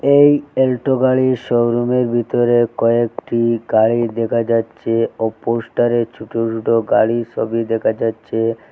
এই অল্টো গাড়ির শোরুমের ভিতরে কয়েকটি গাড়ি দেখা যাচ্ছে ও পোস্টারে ছোটো ছোটো গাড়ির সবি দেখা যাচ্ছে।